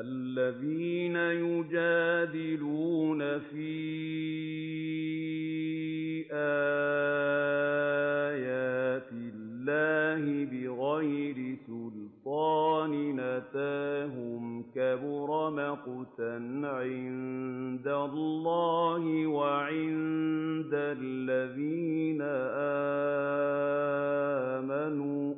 الَّذِينَ يُجَادِلُونَ فِي آيَاتِ اللَّهِ بِغَيْرِ سُلْطَانٍ أَتَاهُمْ ۖ كَبُرَ مَقْتًا عِندَ اللَّهِ وَعِندَ الَّذِينَ آمَنُوا ۚ